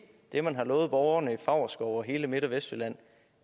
det man har lovet borgerne i favrskov og hele midt og vestjylland